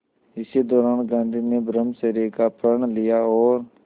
इसी दौरान गांधी ने ब्रह्मचर्य का प्रण लिया और